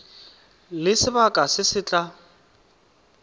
le sebaka se se tla